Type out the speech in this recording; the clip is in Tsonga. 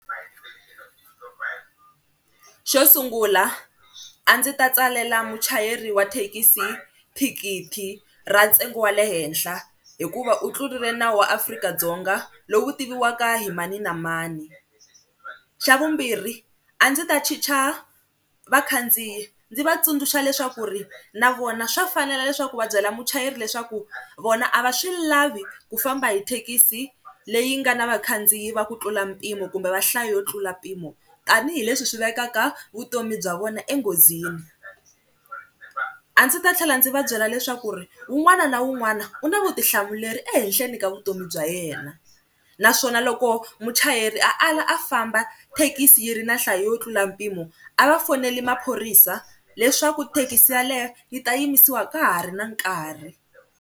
Xo sungula a ndzi ta tsalela muchayeri wa thekisi thikithi ra ntsengo wa le henhla hikuva u tlurile nawu wa Afrika-Dzonga lowu tiviwaka hi mani na mani, xa vumbirhi a ndzi ta chicha vakhandziyi ndzi va tsundzuxa leswaku ri na vona swa fanela leswaku va byela muchayeri leswaku vona a va swi lavi ku famba hi thekisi leyi nga na vakhandziyi va ku tlula mpimo kumbe va nhlayo yo tlula mpimo tanihileswi swi vekaka vutomi bya vona enghozini. A ndzi ta tlhela ndzi va byela leswaku ri un'wana na un'wana u na vutihlamuleri ehehleni ka vutomi bya yena naswona loko muchayeri a ala a famba thekisi yi ri na nhlayo yo tlula mpimo a va foneli maphorisa leswaku thekisi yaleyo ni ta yimisiwa ka ha ri na nkarhi.